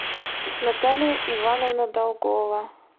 наталья ивановна долгова